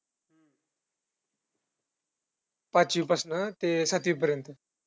पाचवी पासनं ते सातवीपर्यंत,